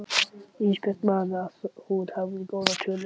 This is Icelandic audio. Ísbjörg man að hún hafði góðar tölur.